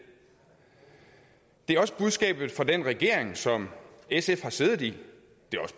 er også budskabet fra den regering som sf har siddet i